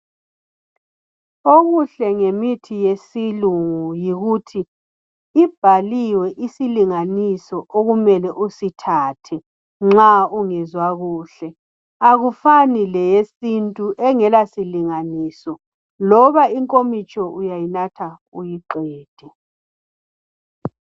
Okuhle ngemithi yesilungu ikuthi ibhaliwe isilinganiso okumele usithathe nxa ungezwa kuhle, akufani leyesintu engelasilanganiso loba inkomitsho uyayinatha uyiqede